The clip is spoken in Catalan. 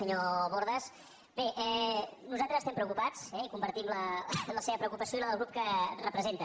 senyor bordes bé nosaltres estem preocupats eh i compartim la seva preocupació i la del grup que representa